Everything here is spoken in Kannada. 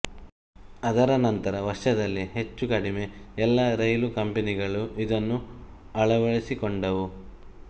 ಅದರ ನಂತರ ವರ್ಷದಲ್ಲಿ ಹೆಚ್ಚು ಕಡಿಮೆ ಎಲ್ಲ ರೈಲ್ವೆ ಕಂಪನಿಗಳು ಇದನ್ನು ಅಳವಡಿಸಿಕೊಂಡವು